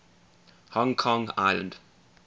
hong kong island